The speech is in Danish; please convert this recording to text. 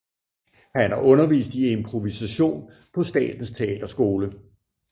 Han har undervist i improvisation på Statens Teaterskole